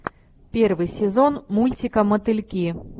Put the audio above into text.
первый сезон мультика мотыльки